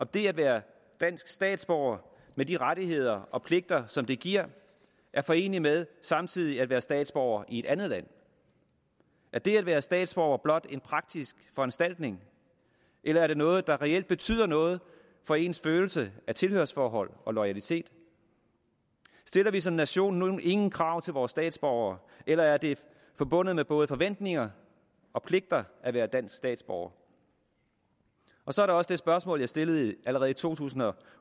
det at være dansk statsborger med de rettigheder og pligter som det giver er foreneligt med samtidig at være statsborger i et andet land er det at være statsborger blot en praktisk foranstaltning eller er det noget der reelt betyder noget for ens følelse af tilhørsforhold og loyalitet stiller vi som nation nu ingen krav til vores statsborgere eller er det forbundet med både forventninger og pligter at være dansk statsborger og så er der også det spørgsmål jeg stillede allerede i 2008